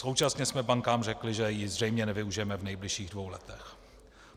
Současně jsme bankám řekli, že ji zřejmě nevyužijeme v nejbližších dvou letech.